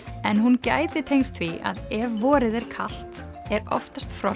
en hún gæti tengst því að ef vorið er kalt er oftast frost